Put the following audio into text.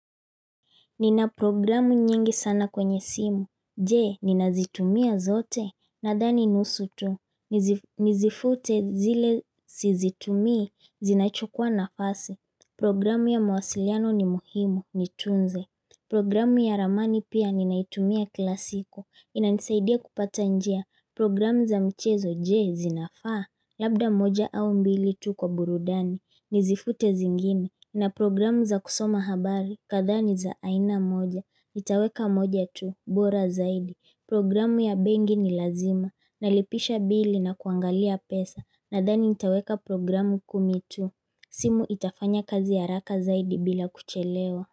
Nina programu nyingi sana kwenye simu, jee ninazitumia zote, nadhani nusu tu, nizifute zile sizitumii, zinachukua nafasi, programu ya mwasiliano ni muhimu, nitunze Programu ya ramani pia ninaitumia kila siku, inanisaidia kupata njia, programu za mchezo jee zinafaa, labda moja au mbili tu kwa burudani, nizifute zingine na programu za kusoma habari, kadani za aina moja, nitaweka moja tu, bora zaidi. Programu ya bengi ni lazima, nalipisha bili na kuangalia pesa, nadani nitaweka programu kumi tu. Simu itafanya kazi ya raka zaidi bila kuchelewa.